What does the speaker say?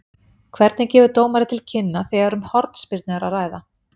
Hvernig gefur dómari til kynna þegar um hornspyrnu er að ræða?